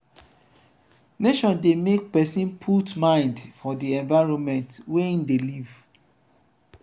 nature de make persin put mind for di environment wey im de live